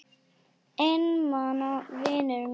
Einmana vinum mínum.